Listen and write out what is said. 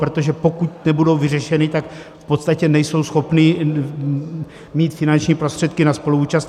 - Protože pokud nebudou vyřešeny, tak v podstatě nejsou schopny mít finanční prostředky na spoluúčast.